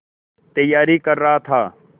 तैयारी कर रहा था